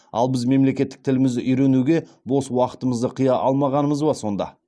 ал біз мемлекеттік тілімізді үйренуге бос уақытымызды қия алмағанымыз ба сонда